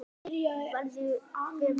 Hver verður raunin?